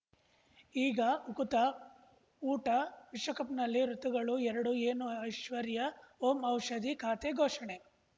ಈಗ ಉಕುತ ಊಟ ವಿಶ್ವಕಪ್‌ನಲ್ಲಿ ಋತುಗಳು ಎರಡು ಏನು ಐಶ್ವರ್ಯಾ ಓಂ ಔಷಧಿ ಖಾತೆ ಘೋಷಣೆ